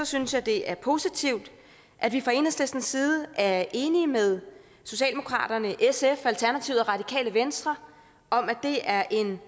synes jeg det er positivt at vi fra enhedslistens side er enige med socialdemokratiet sf alternativet og radikale venstre om at det er en